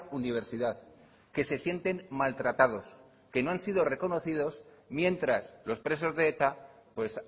universidad que se sienten maltratados que no han sido reconocidos mientras los presos de eta pues